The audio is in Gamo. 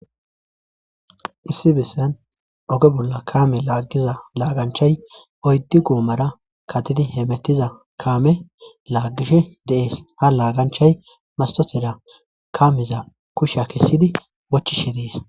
Issi bessan oge bolla kaame laaggiza laaganchay oyddi goomara katidi heemettiza kaame laaggish deees ha laaganchay masotera kamiza kusha kessidi wochishe dees.